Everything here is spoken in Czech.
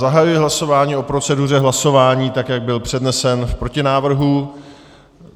Zahajuji hlasování o proceduře hlasování, tak jak byl přednesen v protinávrhu.